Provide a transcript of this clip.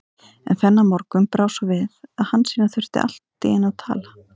En þennan morgun brá svo við að Hansína þurfti allt í einu að tala.